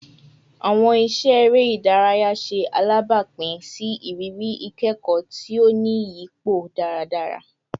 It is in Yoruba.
Awọn iṣẹ ere idaraya ṣe alabapin si iriri ikẹkọ ti o ni iyipo daradara